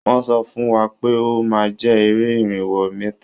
Wọ́n sọ fún wa pé ó máa jẹ́ eré irinwó mítà